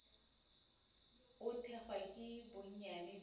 o thekgwa ke bonnyane bja